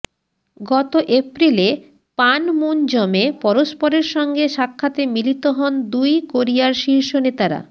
গত এপ্রিলে পানমুনজমে পরস্পরের সঙ্গে সাক্ষাতে মিলিত হন দুই কোরিয়ার শীর্ষ নেতারা